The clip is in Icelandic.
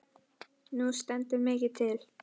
Nú stendur mikið til.